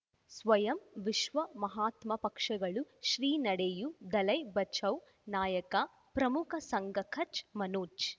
ಸ್ವಯಂ ವಿಶ್ವ ಮಹಾತ್ಮ ಪಕ್ಷಗಳು ಶ್ರೀ ನಡೆಯೂ ದಲೈ ಬಚೌ ನಾಯಕ ಪ್ರಮುಖ ಸಂಘ ಕಚ್ ಮನೋಜ್